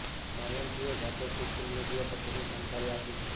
માયંતીએ જાતે social media પર તેની જાણકારી આપી છે